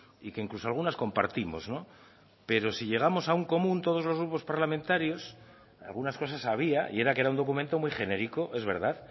y que incluso algunas compartimos pero si llegamos a un común todos los grupos parlamentarios algunas cosas había y era que era un documento muy genérico es verdad